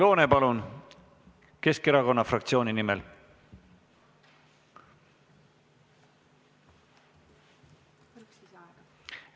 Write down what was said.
Oudekki Loone Keskerakonna fraktsiooni nimel!